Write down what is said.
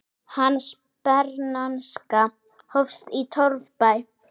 Hans bernska hófst í torfbæ.